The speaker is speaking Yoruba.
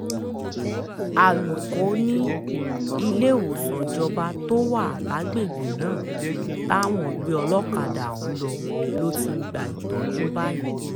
alūkó ni iléewòsàn ìjọba tó wà lágbègbè náà táwọn gbé olókàdá ọ̀hún lọ ló ti ń gba ìtọ́jú báyìí